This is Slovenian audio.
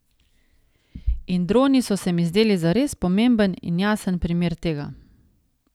In droni so se mi zdeli zares pomemben in jasen primer tega.